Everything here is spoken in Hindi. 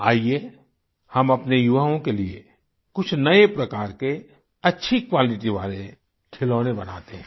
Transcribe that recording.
आइए हम अपने युवाओं के लिये कुछ नए प्रकार के अच्छी क्वालिटी वाले खिलौने बनाते हैं